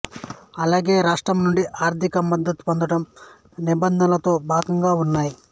అలాగే రాష్ట్రం నుండి ఆర్థిక మద్దతు పొందడం నిబంధనలలో భాగంగా ఉన్నాయి